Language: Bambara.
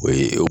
O ye